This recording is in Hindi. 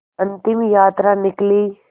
अंतिम यात्रा निकली